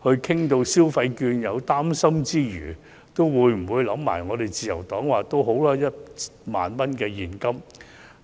或當局討論消費券時，在擔心之餘，會否考慮自由黨建議派發1萬元現金？